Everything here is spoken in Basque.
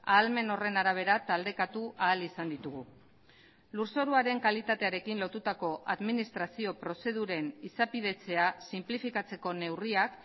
ahalmen horren arabera taldekatu ahal izan ditugu lurzoruaren kalitatearekin lotutako administrazio prozeduren izapidetzea sinplifikatzeko neurriak